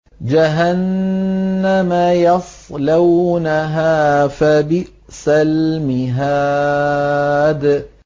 جَهَنَّمَ يَصْلَوْنَهَا فَبِئْسَ الْمِهَادُ